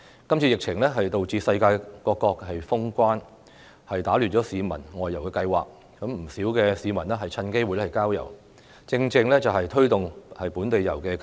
今次疫情導致世界各國封關，打亂了市民的外遊計劃，不少市民趁機會郊遊，這正正是推動本地遊的契機。